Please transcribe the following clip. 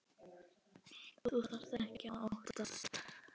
Þú þarft ekkert að óttast.